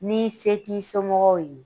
Ni se t'i somɔgɔw ye